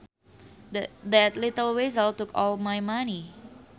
That little weasel took all my money